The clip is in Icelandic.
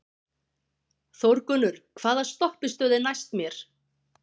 Þórgunnur, hvaða stoppistöð er næst mér?